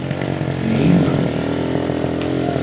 Nei, maður!